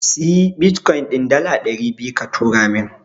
Siyi Bitkoyin din dala ɗari biyu ka turo min.